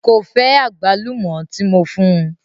Ko fẹ agbálùmó ti mo fún.